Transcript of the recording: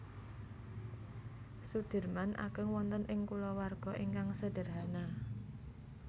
Soedirman ageng wonten ing kulawarga ingkang sedherhana